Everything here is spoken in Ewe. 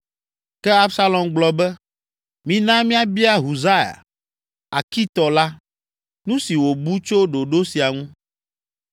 Ke Absalom gblɔ be, “Mina míabia Husai, Arkitɔ la, nu si wòbu tso ɖoɖo sia ŋu.”